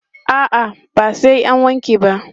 A'a, ba sai an wanke ba.